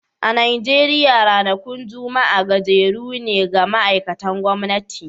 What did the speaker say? A Najeriya ranakun Juma'a gajeru ne ga ma'aikatan gwamnati